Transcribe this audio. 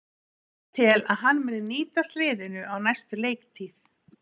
Ég tel að hann muni nýtast liðinu á næstu leiktíð.